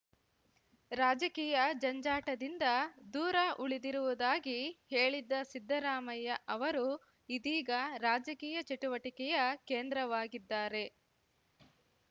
ರಾಜಕೀಯ ಜಂಜಾಟದಿಂದ ದೂರ ಉಳಿದಿರುವುದಾಗಿ ಹೇಳಿದ್ದ ಸಿದ್ದರಾಮಯ್ಯ ಅವರು ಇದೀಗ ರಾಜಕೀಯ ಚಟುವಟಿಕೆಯ ಕೇಂದ್ರವಾಗಿದ್ದಾರೆ